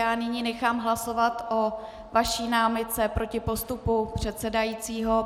Já nyní nechám hlasovat o vaší námitce proti postupu předsedajícího.